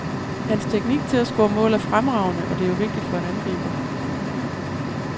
Hans teknik til at score mål er fremragende, og det er jo vigtigt for en angriber.